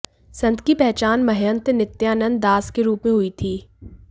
संत की पहचान महंत नित्यानंद दास के रूप में हुई थी